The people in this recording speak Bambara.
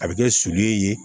A bɛ kɛ sulu ye